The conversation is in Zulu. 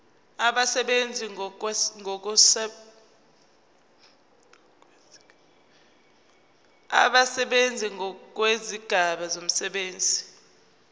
abasebenzi ngokwezigaba zomsebenzi